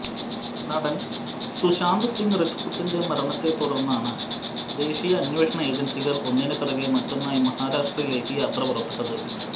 നടൻ സുശാന്ത് സിങ് രാജ്പുത്തിന്റെ മരണത്തെത്തുടർന്നാണ് ദേശീയ അന്വേഷണ ഏജൻസികൾ ഒന്നിനു പിറകെ മറ്റൊന്നായി മഹാരാഷ്ട്രയിലേക്ക് യാത്ര പുറപ്പെട്ടത്